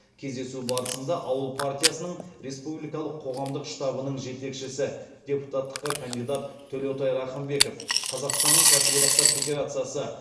кездесу барысында ауыл партиясының республикалық қоғамдық штабының жетекшісі депутаттыққа кандидат төлеутай рахымбеков қазақстанның кәсіподақтар федерациясы